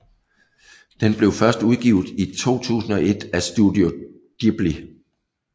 Den blev først udgivet i juli 2001 af Studio Ghibli